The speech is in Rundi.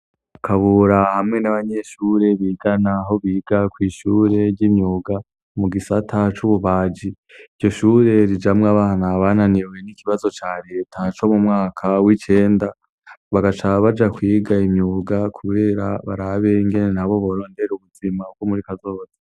Kabura hamwe n'abanyeshure bigana, aho biga kw'ishure ry'imyuga mu gisata c'ububaji. Iryo shure rijamwo abana bananiwe n'ikibazo ca Leta co mu mwaka w'icenda, bagaca baja kwiga imyuga kubera barabe ingene nabo borondera ubuzima bwo muri kazoza.